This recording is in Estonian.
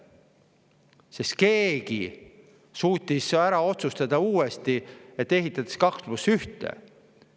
Sest keegi suutis uuesti ära otsustada, et ehitatakse 2 + 1 teid.